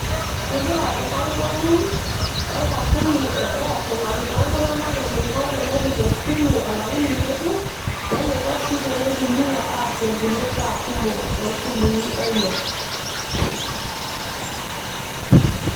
Kegira enkarikoni o enkampuni e airtel arikoo iltung'anak eneiko tenepik esimu olaini ng'ejuk eneiko sii teneitumiyia aasie inkulie baa kumok toosimui enye.